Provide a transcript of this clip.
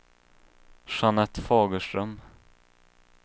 Jeanette Fagerström